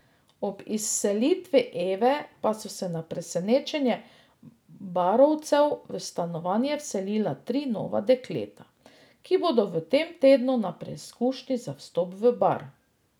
Ob izselitvi Eve pa so se na presenečenje barovcev v stanovanje vselila tri nova dekleta, ki bodo v tem tednu na preizkušnji za vstop v Bar.